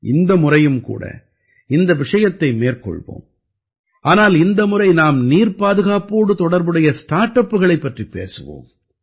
இந்த முறையும் கூட இந்த விஷயத்தை மேற்கொள்வோம் ஆனால் இந்த முறை நாம் நீர்ப்பாதுகாப்போடு தொடர்புடைய ஸ்டார்ட் அப்புகளைப் பற்றிப் பேசுவோம்